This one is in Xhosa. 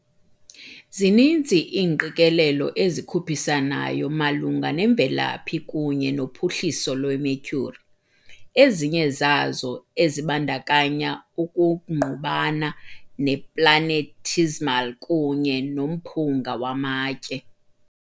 Zininzi iingqikelelo ezikhuphisanayo malunga nemvelaphi kunye nophuhliso lweMercury, ezinye zazo ezibandakanya ukungqubana neplanetesimal kunye nomphunga wamatye.